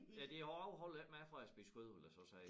Ja det afholder jo ikke mig fra at spise kød vil jeg så sige